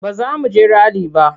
Ba za mu je rali ba.